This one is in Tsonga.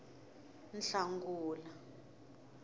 nhlangula